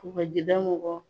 Kɔgɔjida mɔgɔw